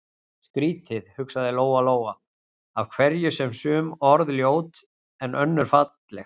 Skrýtið, hugsaði Lóa-Lóa, af hverju eru sum orð ljót en önnur falleg?